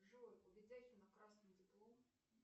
джой у ведяхина красный диплом